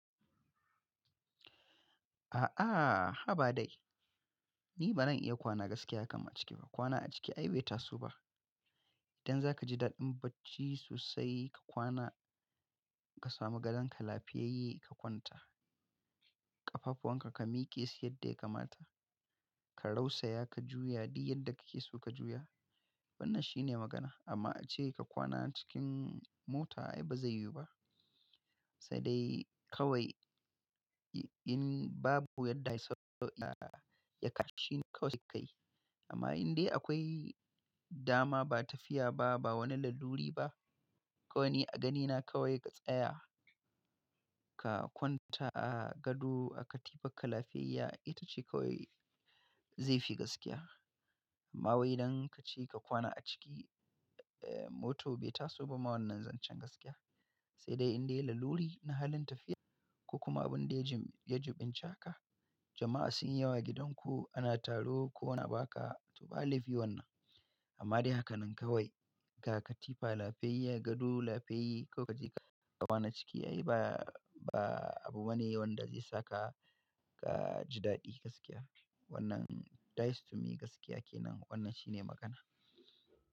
A'a, ha ba dai. Ni ba zan iya kwana gaskiya kamar ciki ba. Kwana a ciki ai bai taso ba. Idan za ka ji daɗin bacci sosai, ka kwana ka samu gadon ka lafiyayye ka kwanta, ƙafafuwan ka, ka miƙe su yadda ya kamata, ka rausaya ka juya duk yadda kake so ka juya. Wannan shine magana. Amma ace ka kwana cikin mota ai ba zai yiwu ba. Sai dai kawai in babu yadda ya sauya ya kashi kawai sai ka yi. Amma in dai akwai dama, ba tafiya ba, ba wani laluri ba, kawai a ganina kawai ka tsaya ka kwanta a gado, a katifa ka lafiyayya ita ce kawai zai fi gaskiya. Amma wai idan kace ka kwana a ciki, eh, mota bai taso ba, ma wannan zan can gaskiya. Se dai in dai laluri na halin tafiya ko kuma bin dai ya juɓinci haka, jama'a sun yi yawa gidan ku ana taro ko na ba ka, to ba laifi wannan. Amma dai haka nan kawai ka katifa lafiyayya, gado lafiyayya ko ka je ka kwana ciki ai ba ba abu wane wanda zai saka ka ji daɗi gaskiya. Wannan that's to me gaskiya ke nan. Wannan shine magana.